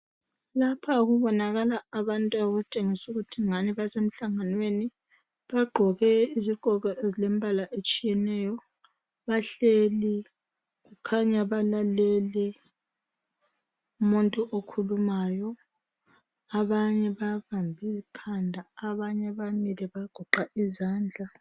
Lapha kubonakala abantu okutshengisela ukuthi ngani basemhlanganweni. Bagqoke izigqoko ezilembala etshiyeneyo bahleli khanya balalele umuntu okhulumayo abanye, babambe ikhanda abanye bamile bagoqa izandla.